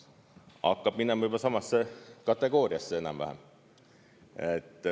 Hakkab minema samasse kategooriasse enam-vähem.